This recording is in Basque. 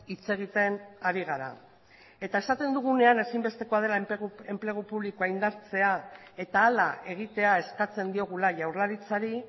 hitz egiten ari gara eta esaten dugunean ezinbestekoa dela enplegu publikoa indartzea eta hala egitea eskatzen diogula jaurlaritzari